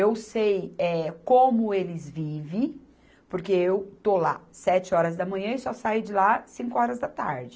Eu sei, eh, como eles vive, porque eu estou lá sete horas da manhã e só saio de lá cinco horas da tarde.